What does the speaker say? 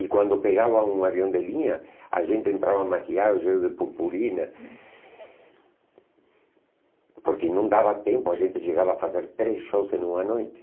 E quando pegava um avião de linha, a gente entrava maquiado cheio de purpurina, porque não dava tempo, a gente chegava a fazer três shows em uma noite.